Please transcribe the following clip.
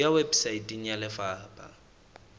e ya weposaeteng ya lefapha